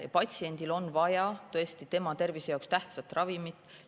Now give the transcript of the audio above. Patsiendil aga on vaja tõesti tema tervise jaoks olulist ravimit.